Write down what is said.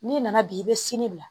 N'i nana bi i bɛ sini bila